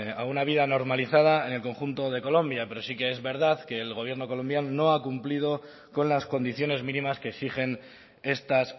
a una vida normalizada en el conjunto de colombia pero sí que es verdad que el gobierno colombiano no ha cumplido con las condiciones mínimas que exigen estas